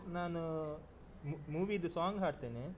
ನಾನು movie ದು song ಹಾಡ್ತೇನೆ.